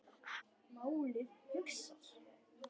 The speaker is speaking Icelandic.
Málið hugsað.